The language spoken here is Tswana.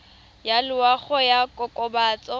ya loago ya go kokobatsa